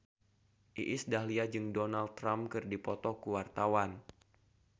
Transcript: Iis Dahlia jeung Donald Trump keur dipoto ku wartawan